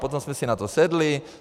Potom jsme si na to sedli.